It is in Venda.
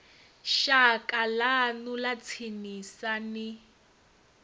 shaka ḽanu ḽa tsinisa ni